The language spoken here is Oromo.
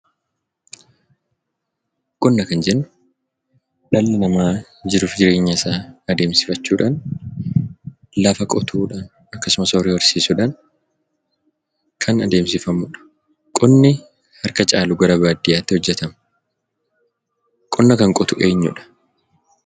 Qonna kan jennu dhalli namaa jiruuf jireenya isaa adeemsifachuudhaan, lafa qotuudhaan, akkasumas horii horsiisuudhaan kan adeemsifamudha. Qonni harka caalu gara baadiyyaatti hojjetama. Qonna kan qotu eenyudha?